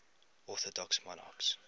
orthodox monarchs